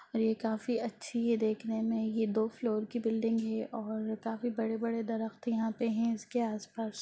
ये काफी अच्छी है देखने में ये दो फ्लोर की बिलडिंग है और काफी बड़े-बड़े दरख़्त यहाँ पे है इसके आस-पास।